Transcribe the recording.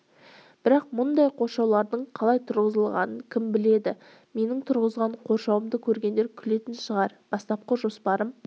бірақ мұндай қоршаулардың қалай тұрғызылатынын кім біледі менің тұрғызған қоршауымды көргендер күлетін шығар бастапқы жоспарым